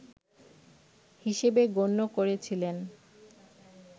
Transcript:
হিসেবে গণ্য করেছিলেন